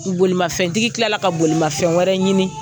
bolimafɛntigi tilala ka bolimafɛn wɛrɛ ɲini.